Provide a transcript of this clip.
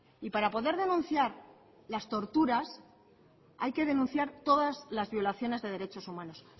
y para poder denunciar las torturas hay que denunciar todas las violaciones de derechos humanos